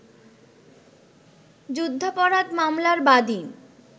যুদ্ধাপরাধ মামলার বাদী